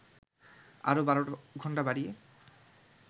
আরও ১২ ঘণ্টা বাড়িয়ে